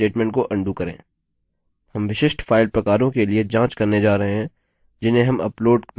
अतः अदाहरणस्वरूप मानिए कि मैं avi फाइल्स अपलोड करना नहीं चाहता हूँ